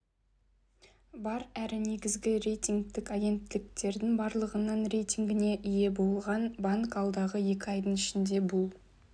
бар әрі негізгі рейтингтік агенттіктердің барлығынан рейтингіне ие болған банк алдағы екі айдың ішінде бұл